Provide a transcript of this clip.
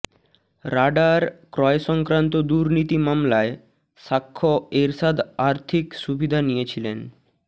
radar ক্রয়সংক্রান্ত দুর্নীতি মামলায় সাক্ষ্য এরশাদ আর্থিক সুবিধা নিয়েছিলেন